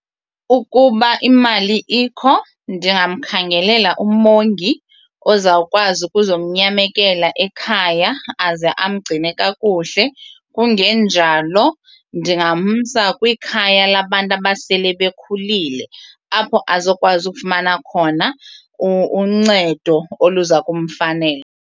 Ukuba imali ikho ndingamkhangelela umongi ozawukwazi ukuzomnyamekela ekhaya aze amgcine kakuhle kungenjalo ndingamsa kwikhaya labantu abasele bekhulile apho azokwazi ukufumana khona uncedo oluza kumfanela.